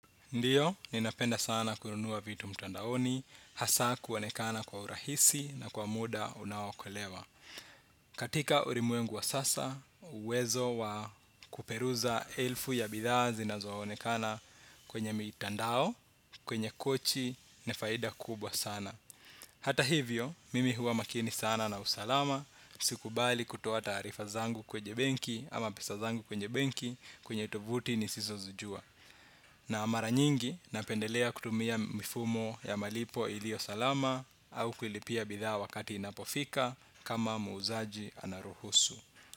Ndiyo, ninapenda sana kununua vitu mtandaoni, hasa kuonekana kwa urahisi na kwa muda una okolewa. Katika ulimwengu wa sasa, uwezo wa kuperuza elfu ya bidhaa zinazo onekana kwenye mitandao, kwenye kochi, ni faida kubwa sana. Hata hivyo, mimi huwa makini sana na usalama, sikubali kutoa taarifa zangu kwenye benki, kwenye tovuti nisizozijua. Na mara nyingi napendelea kutumia mifumo ya malipo iliyo salama au kulipia bidhaa wakati inapofika kama muuzaji anaruhusu.